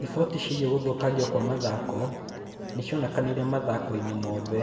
Riboti ciĩgiĩ gũthũkangio kwa mathako nĩ cionekanire mathako-inĩ mothe.